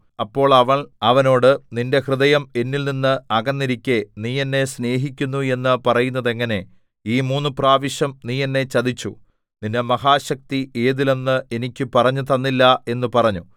അപ്പോൾ അവൾ അവനോട് നിന്റെ ഹൃദയം എന്നിൽനിന്ന് അകന്നിരിക്കെ നീ എന്നെ സ്നേഹിക്കുന്നു എന്ന് പറയുന്നത് എങ്ങനെ ഈ മൂന്ന് പ്രാവശ്യം നീ എന്നെ ചതിച്ചു നിന്റെ മഹാശക്തി ഏതിൽ എന്ന് എനിക്ക് പറഞ്ഞുതന്നില്ല എന്ന് പറഞ്ഞു